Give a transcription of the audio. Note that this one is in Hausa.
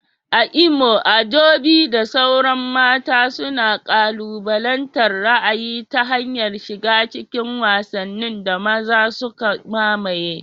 A Imo, Adaobi da sauran mata suna kalubalantar ra'ayi ta hanyar shiga cikin wasannin da maza suka mamaye.